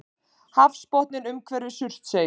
Hafsbotninn umhverfis Surtsey.